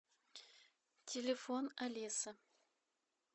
телефон алиса